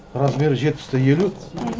размері жетпісте елу